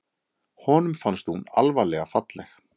Honum fannst hún alvarlega falleg.